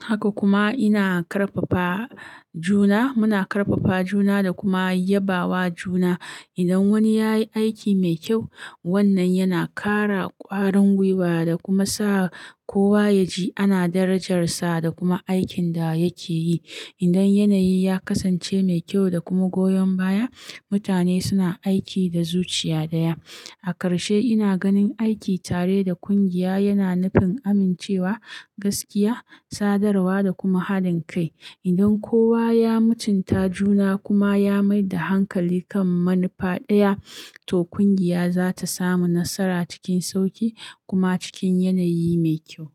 Haka kuma ina ƙarfafa juna, muna ƙarfafa juna da kuma yabawa juna. Idan wani ya yi aiki mai kyau, wannan yana ƙara ƙwarin gwiwa da kuma sa kowa ya ji ana darajarsa da kuma aikin da yake yi. Idan yanayi ya kasance mai kyau da kuma goyon baya, mutane suna aiki da zuciya ɗaya. A karshe ina ganin aiki tare da ƙungiya yana nufin amincewa, gaskiya, sadarwa da kuma haɗin kai. Idan kowa ya mutunta juna kuma ya mai da hankali kan manufa ɗaya, to ƙungiya za ta samu nasara cikin sauƙi kuma cikin yanayi mai kyau.